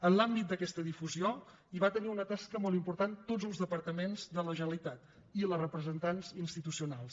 en l’àmbit d’aquest difusió hi varen tenir una tasca molt important tots els departaments de la generalitat i les representants institucionals